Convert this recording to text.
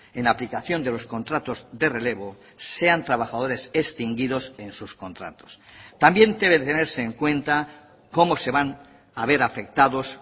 en aplicación de los contratos de relevo sean trabajadores extinguidos en sus contratos también debe tenerse en cuenta cómo se van a ver afectados